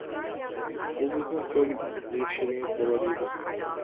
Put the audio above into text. бұл біздің төл ерекшелігіміз болар еді